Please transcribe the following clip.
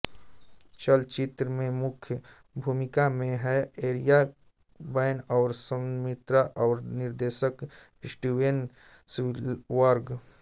चलचित्र में मुख्य भुमिका में हैं एरिक बैना और सहनिर्माता और निर्देशक हैं स्टीवेन स्पीलबर्ग